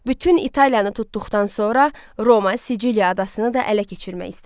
Bütün İtalyanı tutduqdan sonra Roma Siciliya adasını da ələ keçirmək istədi.